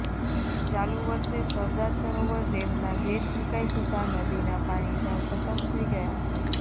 ચાલુ વર્ષે સરદાર સરોવર ડેમના ગેટ મુકાઇ જતાં નદીના પાણી સાવ ખતમ થઈ ગયા છે